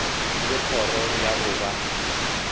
le kgoro ya go ba